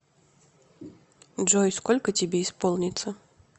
джой сколько тебе исполнится